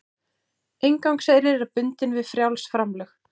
Inngangseyrir er bundinn við frjáls framlög